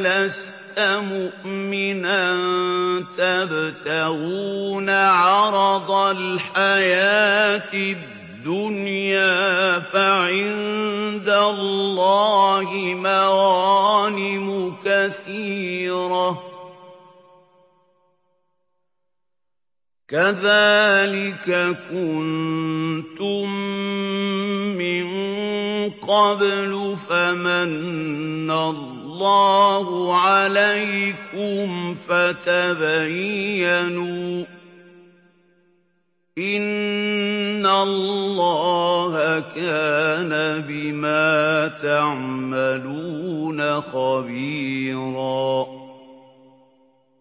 لَسْتَ مُؤْمِنًا تَبْتَغُونَ عَرَضَ الْحَيَاةِ الدُّنْيَا فَعِندَ اللَّهِ مَغَانِمُ كَثِيرَةٌ ۚ كَذَٰلِكَ كُنتُم مِّن قَبْلُ فَمَنَّ اللَّهُ عَلَيْكُمْ فَتَبَيَّنُوا ۚ إِنَّ اللَّهَ كَانَ بِمَا تَعْمَلُونَ خَبِيرًا